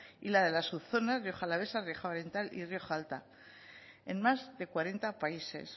y la de las subzonas rioja alavesa rioja oriental y rioja alta en más de cuarenta países